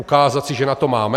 Ukázat si, že na to máme?